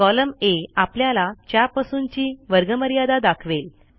column आ आपल्याला च्यापासूनची वर्गमर्यादा दाखवेल